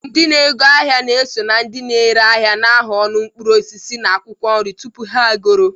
Ndị na-ego ahịa na-eso na ndị ere ahịa na-ahụ ọnụ mkpụrụ osisi na akwụkwọ nri tupu ha egoro.